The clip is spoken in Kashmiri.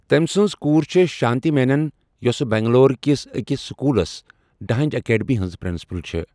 تمہِ سٕنز کُور چھے شانتی مینن، ہوسہٕ بنگلور کیس اکِس سکوُلس ڈہنز ایکڈمی ہنز پرنسپل چھے ۔